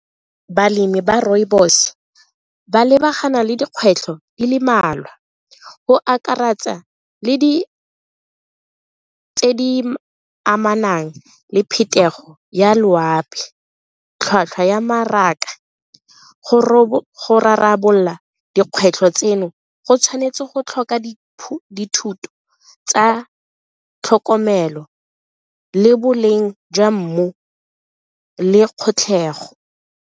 Balemi ba rooibos ba lebagana le dikgwetlho di le mmalwa go akaretsa le tse di amanang le phetogo ya loapi, tlhwatlhwa ya mmaraka, go rarabolola dikgwetlho tseno go tshwanetse go tlhoka tsa tlhokomelo le boleng jwa mmu le .